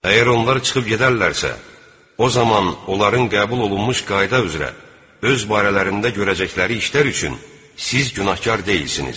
Əgər onlar çıxıb gedərlərsə, o zaman onların qəbul olunmuş qayda üzrə öz barələrində görəcəkləri işlər üçün siz günahkar deyilsiniz.